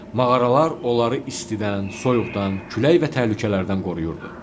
Mağaralar onları istidən, soyuqdan, külək və təhlükələrdən qoruyurdu.